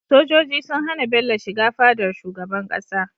Sojoji sun hAna Bello shiga fadar shugaban ƙasa